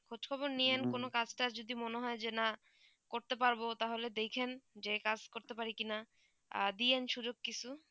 খোঁজ খবর নিয়েন কোনো কাজ টাজ যদি মনে যে না করতে পারবো তা হলে দেখেন যে কাজ করতে পারি কি না দিয়েন সুযোগ কিছু